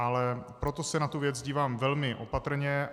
Ale proto se na tu věc dívám velmi opatrně.